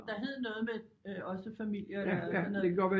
Der hed noget med også familier der noget